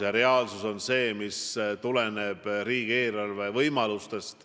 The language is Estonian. Ja reaalsus on see, mis tuleneb riigieelarve võimalustest.